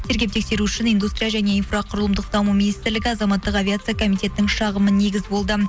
тергеп тексеру үшін индустрия және инфроқұрылымдық даму министрлігі азаматтық авиация комитетінің шағымы негіз болды